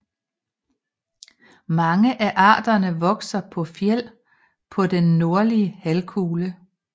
Mange af arterne vokser på fjeld på den nordlige halvkugle